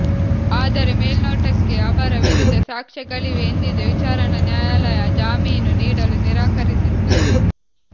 ಆದರೆ ಮೇಲ್ನೋಟಕ್ಕೆ ಅವರ ವಿರುದ್ಧ ಸಾಕ್ಷ್ಯಗಳಿವೆ ಎಂದಿದ್ದ ವಿಚಾರಣಾ ನ್ಯಾಯಾಲಯ ಜಾಮೀನು ನೀಡಲು ನಿರಾಕರಿಸಿತ್ತು